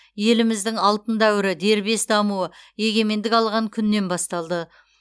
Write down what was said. еліміздің алтын дәуірі дербес дамуы егемендік алған күннен басталды